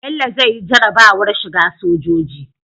Bello zai yi jarabawar shiga sojoji